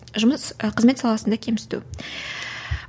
жұмыс ы қызмет саласында кемсіту